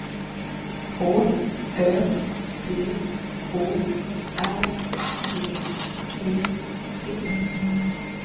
H Ö T O R G E T